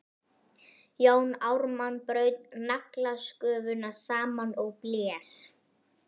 Jón Ármann braut naglasköfuna saman og blés.